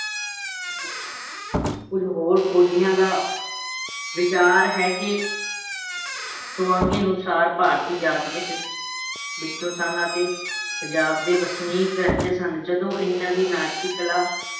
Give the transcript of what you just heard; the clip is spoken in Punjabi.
ਕੁਝ ਹੋਰ ਖੋਜੀਆਂ ਦਾ ਵਿਚਾਰ ਹੈ ਕਿ ਸੁਆਂਗੀ ਅਨੁਸਾਰ ਭਾਰਤੀ ਜਾਤ ਵਿੱਚ ਵਿੱਚੋਂ ਸਨ ਅਤੇ ਪੰਜਾਬ ਦੇ ਵਸਨੀਕ ਰਹਿੰਦੇ ਸਨ, ਜਦੋਂ ਇਹਨਾਂ ਦੀ ਨਾਟਕੀ ਕਲਾ